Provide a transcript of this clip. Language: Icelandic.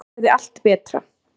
Hann gerði allt betra.